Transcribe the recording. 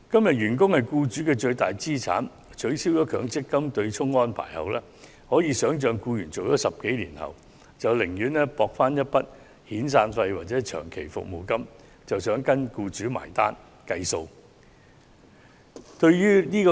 員工是僱主的最大資產，但在取消強積金對沖安排後，可以想象僱員在工作10多年後，會寧願博取一筆遣散費或長期服務金，而跟僱主結帳離職。